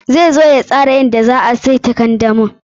Zai zo ya tsara yadda za a saita kandamin.